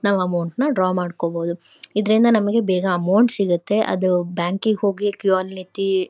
ನಾವ್ ಅಮೌಂಟ್ ನ ಡ್ರಾ ಮಾಡ್ಕೋಬಹುದು ಇದ್ರಿಂದ ನಮಿಗ್ ಬೇಗ ಅಮೌಂಟ್ ಸಿಗುತ್ತೆ ಅದು ಬ್ಯಾಂಕಿಗೆ ಹೋಗಿ ಕ್ಯೂ ಅಲ್ಲಿ ನಿಂತಿ.